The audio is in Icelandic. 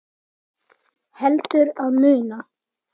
Heldur að muna.